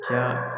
Caya